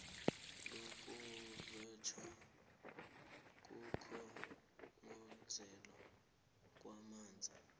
lokuphathwa kokukhongozelwa kwamanzi